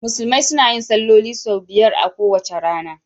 Musulmai suna yin salloli sau biyar a kowace rana.